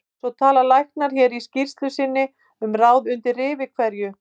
Svo tala læknar hér í skýrslu sinni um ráð undir rifi hverju